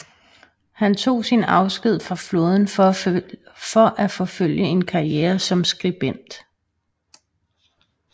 Han tog sin afsked fra flåden for at forfølge en karriere som skribent